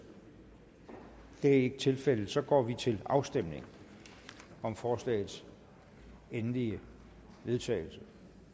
det er ikke tilfældet så går vi til afstemning om forslagets endelige vedtagelse